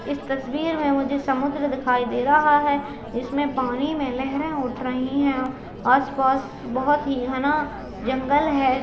इस तस्वीर में मुझे समुद्र दिखाई दे रहा है इसमें पानी में लहरें उठ रही है आस-पास बोहोत ही घना जंगल है।